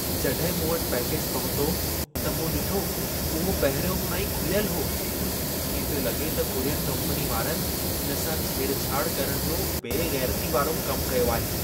जॾहिं मूं वटि पैकेज पहुतो, त मूं ॾिठो उहो पहिरियों खां ई खुलियल हो। इएं पियो लॻे त कुरियर कम्पनी वारनि इन सां छेड़छाड़ करण जो बे ग़ैरतीअ वारो कम कयो आहे।